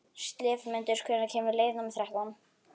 slefmundur, hvenær kemur leið númer þrettán?